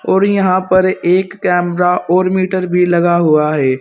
और यहां पर एक कैमरा और मीटर भी लगा हुआ है।